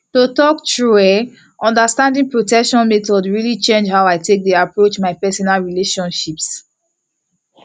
to talk true eh understanding protection methods really change how i take dey approach my personal relationships